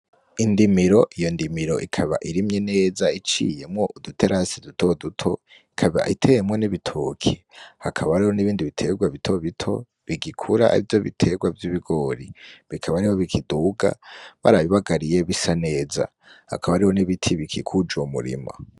Indimiro, yo ndimiro ikaba irimye neza iciyemwo uduterasi dutoduto ikaba iteyemwo n’ibitoke , hakaba hariho n’ibindi biterwa bitobito bigikura arivyo biterwa vy’ibigori, bikaba ariho bikiduga barabibagariye bisa neza hakaba hariho n’ibiti bikikuje uwo murima .